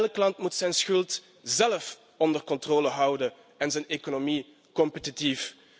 Elk land moet zijn schuld zelf onder controle houden en zijn economie competitief.